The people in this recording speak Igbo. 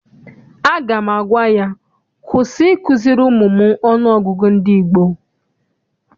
Aga m agwa ya, kwụsị ikuziri ụmụ m ọnụọgụgụ ndị gboo!